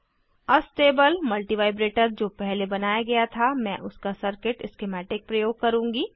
astable multivibrator जो पहले बनाया गया था मैं उसका सर्किट स्किमैटिक प्रयोग करुँगी